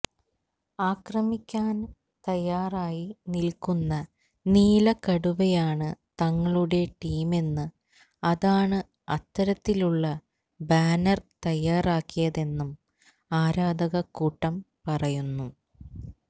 ആക്രമിക്കാന് തയ്യാറായി നില്ക്കുന്ന നീല കടുവയാണ് തങ്ങളുടെ ടീമെന്നും അതാണ് അത്തരത്തിലുള്ള ബാനര് തയ്യാറാക്കിയതെന്നും ആരാധകക്കൂട്ടം പറയുന്നു